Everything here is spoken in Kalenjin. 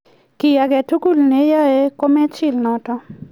kiy agetugul ne iyai ko mechil notok